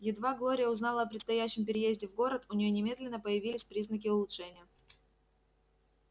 едва глория узнала о предстоящем переезде в город у нее немедленно появились признаки улучшения